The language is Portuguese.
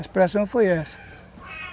A expressão foi essa.